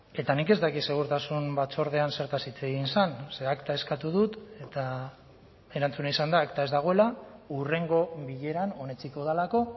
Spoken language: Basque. eta nik ez dakit segurtasun batzordean zertaz hitz egin zen ze akta eskatu dut eta erantzuna izan da akta ez dagoela hurrengo bileran onetsiko delako